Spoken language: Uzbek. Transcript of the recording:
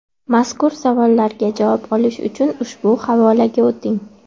Mazkur savollarga javob olish uchun ushbu havolaga o‘ting.